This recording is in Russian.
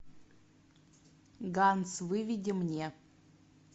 ганс выведи мне